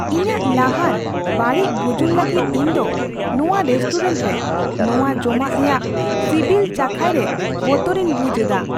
ᱤᱧᱟᱜ ᱞᱟᱦᱟᱱ ᱵᱟᱹᱲᱤᱡ ᱵᱩᱡᱩᱱ ᱞᱟᱹᱜᱤᱫ ᱤᱧ ᱫᱚ ᱱᱚᱣᱟ ᱨᱮᱥᱴᱩᱨᱮᱱᱴ ᱨᱮ ᱱᱚᱣᱟ ᱡᱚᱢᱟᱜ ᱨᱮᱭᱟᱜ ᱥᱤᱵᱤᱞ ᱪᱟᱠᱷᱟᱭ ᱨᱮ ᱵᱚᱛᱚᱨᱤᱧ ᱵᱩᱡᱷ ᱮᱫᱟ ᱾